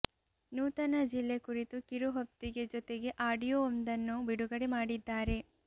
ನೂತನ ಜಿಲ್ಲೆ ಕುರಿತು ಕಿರುಹೊತ್ತಿಗೆ ಜೊತೆಗೆ ಆಡಿಯೋ ಒಂದನ್ನು ಬಿಡುಗಡೆ ಮಾಡಿದ್ದಾರೆ